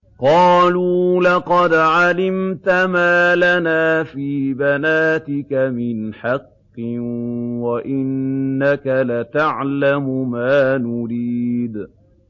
قَالُوا لَقَدْ عَلِمْتَ مَا لَنَا فِي بَنَاتِكَ مِنْ حَقٍّ وَإِنَّكَ لَتَعْلَمُ مَا نُرِيدُ